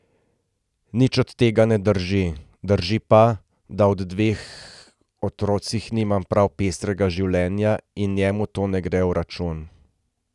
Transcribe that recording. Nič od tega ne drži, drži pa, da ob dveh otrocih nimam prav pestrega življenja in njemu to ne gre v račun.